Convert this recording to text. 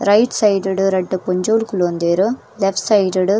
Right side ಡ್ ರಡ್ಡ್ ಪೊಂಜೋವುಲು ಕುಲೋಂದೆರ್ ಲೆಫ್ಟ್ ಸೈಡ್ ಡ್ .